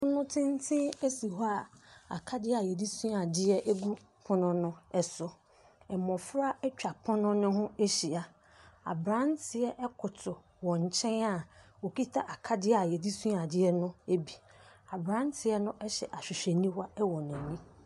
Pono tenten esi hɔ a akadeɛ a yɛde sua adeɛ egu pono no ɛso. Mmofra etwa pono no ho ahyia. Abranteɛ ɛkotow wɔn nkyɛn a okita akadeɛ a yɛde sua adeɛ no ebi. Abranteɛ no ɛhyɛ ahwehwɛniwa ɛwɔ n'ani.